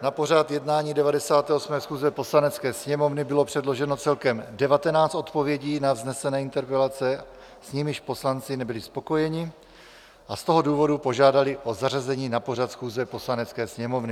Na pořad jednání 98. schůze Poslanecké sněmovny bylo předloženo celkem 19 odpovědí na vznesené interpelace, s nimiž poslanci nebyli spokojeni, a z toho důvodu požádali o zařazení na pořad schůze Poslanecké sněmovny.